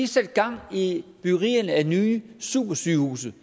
sat gang i byggerierne af nye supersygehuse